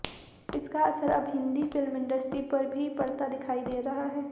इसका असर अब हिंदी फिल्म इंडस्ट्री पर भी पड़ता दिखाई दे रहा है